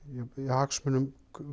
hagsmunum